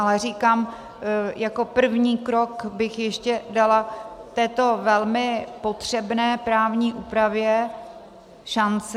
Ale říkám, jako první krok bych ještě dala této velmi potřebné právní úpravě šanci.